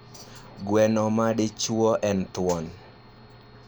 Gweno ma madichuo en thuon.